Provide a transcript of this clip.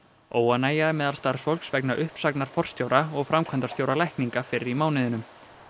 óánægja er meðal starfsfólks vegna uppsagnar forstjóra og framkvæmdastjóra lækninga fyrr í mánuðinum